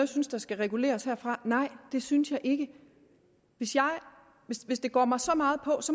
synes skal reguleres her fra nej det synes jeg ikke hvis det går mig så meget på